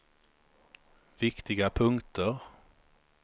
viktiga punkter